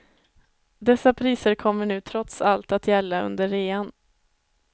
Dessa priser kommer nu trots allt att gälla under rean.